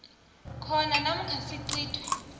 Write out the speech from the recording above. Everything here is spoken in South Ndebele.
khona namkha sicithwe